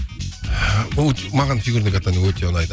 бұл маған фигурное катание өте ұнайды